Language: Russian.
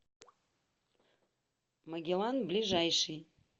магеллан ближайший